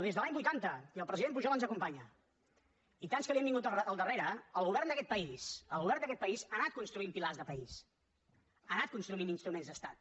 des de l’any vuitanta i el president pujol ens acompanya i tants que li han vingut al darrere el govern d’aquest país el govern d’aquest país ha anat construint pilars de país ha anat construint instruments d’estat